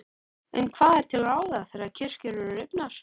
En hvað er til ráða þegar kirkjur eru rifnar?